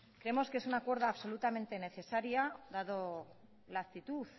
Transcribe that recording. creemos que es un acuerdo absolutamente necesaria dado la actitud